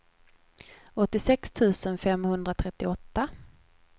åttiosex tusen femhundratrettioåtta